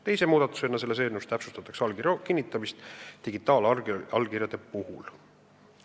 Teise muudatusena täpsustatakse selles eelnõus allkirja kinnitamist digitaalallkirjade puhul.